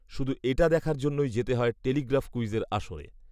শুধু এটা দেখার জন্যই যেতে হয় টেলিগ্রাফ ক্যুইজের আসরে